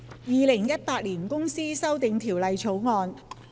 《2018年公司條例草案》。